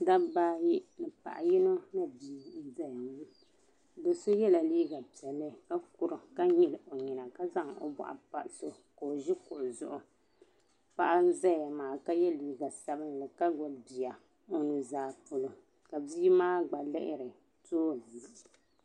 Dabi ayi ni paɣa yinɔ ni bii n ʒɛya ŋɔ do sɔ yela liiga piɛli ka kurim ka nyili ɔ nyina ka zaŋ ɔ bɔɣu n pa doso zuɣu, ka ɔ ʒi kuɣu zuɣu, paɣa n zaya maa ka ye liiga sabinli ka gbubi biya ɔnuzaa pɔlɔ, ka bii maa gba lihiri tooni.